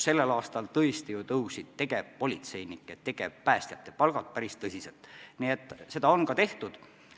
Sellel aastal tõesti ju tõusid tegevpolitseinike, tegevpäästjate palgad päris palju, nii et seda on ka tehtud.